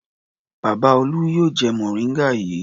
Bàbá Olú yóò jẹ mòríngà yìí.